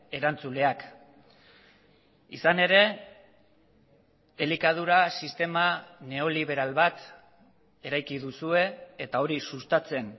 erantzuleak izan ere elikadura sistema neoliberal bat eraiki duzue eta hori sustatzen